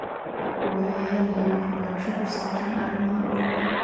Shacabku waxay helayaan waxbarasho ku saabsan arrimaha dhulka.